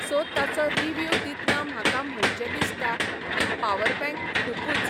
so ताचो review दितना म्हाका म्हणचें दिसता की पावर बँक खुबूच